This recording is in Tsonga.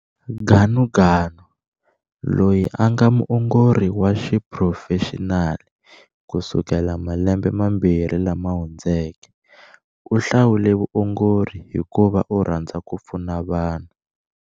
Ganuganu, loyi a nga muongori wa xiphurofexinali kusukela malembe mambirhi lama hundzeke, u hlawule vuongori hikuva u rhandza ku pfuna vanhu.